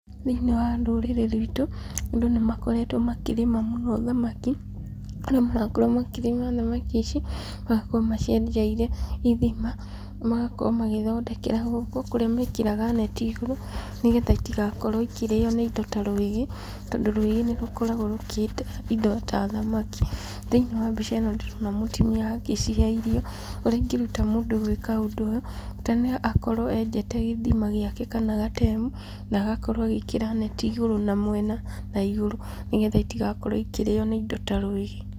Thĩinĩ wa rũrĩrĩ rwitũ, andũ nĩ makoretwo makĩrĩma mũno thamaki, kũrĩa marakorwo makĩrĩma thamaki ici, magakorwo macienjeire ithima, magakorwo magĩthondekera gũkũ, kũrĩa mekĩraga neti igũrũ, nĩgetha itigakorwo ikĩrĩo nĩ indo ta rwĩgĩ, tondũ rwĩgĩ nĩ rũkoragwo rũkĩhĩta indo ta thamaki, thĩinĩ wa mbica ĩno ndĩrona mũtumia agĩcihe irio, ũrĩa ingĩruta mũndũ gwĩka ũndũ ũyũ, bata nĩ akorwo enjete gĩthima gĩake, kana gatemu, na agakorwo agĩĩkĩra neti igũrũ na mwena na igũrũ, nĩgetha itigakorwo ikĩrĩo nĩ indo ta rwĩgĩ.